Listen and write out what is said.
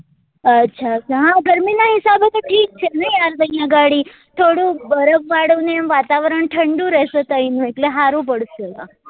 અચ્છા અચ્છા હા ગરમી ના હિસાબે તો ઠીક છે નઈ ત્યાં ઘડી થોડું બરફ વાળું ને વાતાવરણ ઠંડું રેસે ત્યાં નું એટલે હારું પડશે